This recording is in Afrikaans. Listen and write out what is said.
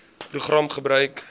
program gebruik